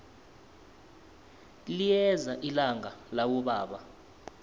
liyeza ilanga labobaba